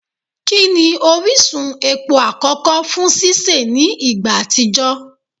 Kini orisun epo akọkọ fun sise ni igba atijọ?